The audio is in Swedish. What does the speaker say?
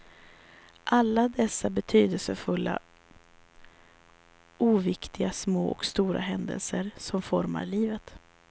Alla dessa betydelsefulla, oviktiga små och stora händelser som formar livet.